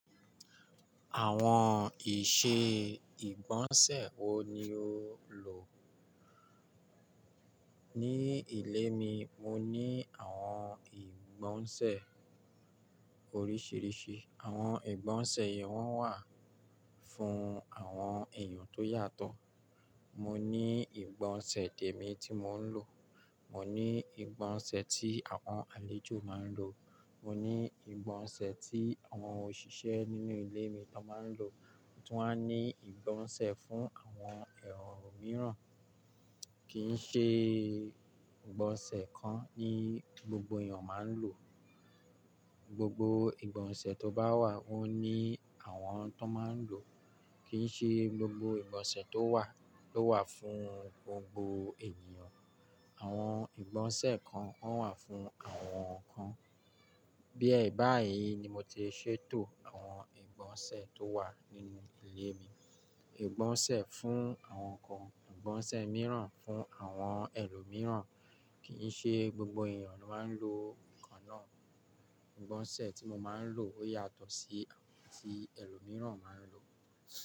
Àwọn ìṣe ìgbọ̀nsẹ̀ wo ni o lò? Ní ilé mi, mo ní àwọn ìgbọ̀nsẹ̀ oríṣìíríṣìí. Àwọn ìgbọ̀nsẹ̀ yẹn wọ́n wà fún àwọn èèyàn tó yàtọ̀. Mo ní ìgbọ̀nsẹ̀ tèmi tí mò ń lò, mo ní ìgbọ̀nsẹ̀ tí àwọn àlejò máa ń lò, mo ní ìgbọ̀nsẹ̀ tí àwọn òṣìṣẹ́ nínú ilé mi lọ́ máa ń lò, mo tún wá ní ìgbọ̀nsẹ̀ fún àwọn ẹ̀rọ mìíràn. Kì í ṣe ìgbọ̀nsẹ̀ kan ni gbogbo èèyàn máa ń lò. Ìgbọ̀gbọ̀ ìgbọ̀nsẹ̀ tó bá wà ó ní àwọn tó máa ń lò o. Kì í ṣe gbogbo ìgbọ̀nsẹ̀ tó wà ló wà fún gbogbo ènìyàn. Àwọn ìgbọ̀nsẹ̀ kan wọ́n wà fún àwọn ǹkan. Bí ẹ báyìí ni mo ti ṣètò àwọn ìgbọ̀nsẹ̀ tó wà nínú ilé mi. Ìgbọ̀nsẹ̀ fún àwọn ǹkan, ìgbọ̀nsẹ̀ mìíràn fún àwọn ẹlòmíràn, kì í ṣe gbogbo èèyàn ló máa ń lo ǹkan náà. Ìgbọ̀nsẹ̀ tí mo máa ń lò ó yàtọ̀ sí ti ẹlòmíràn máa ń lò.